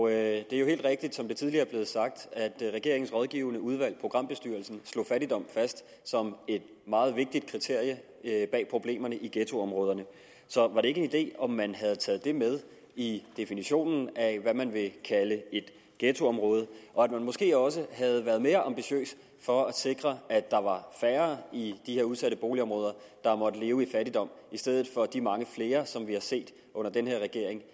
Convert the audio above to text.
er jo helt rigtigt som det tidligere er blevet sagt at regeringens rådgivende udvalg programbestyrelsen slog fattigdom fast som et meget vigtigt kriterium bag problemerne i ghettoområderne så var det ikke en idé om man havde taget det med i definitionen af hvad man vil kalde et ghettoområde og at man måske også havde været mere ambitiøs for at sikre at der var færre i de her udsatte boligområder der måtte leve i fattigdom i stedet for de mange flere som vi har set under den her regering